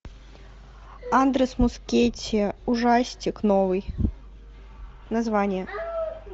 андрес мускетти ужастик новый название